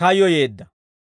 kayyoyeedda.